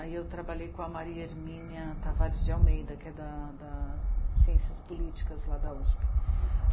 Aí eu trabalhei com a Maria Hermínia Tavares de Almeida, que é da Ciências Políticas lá da u esse pê.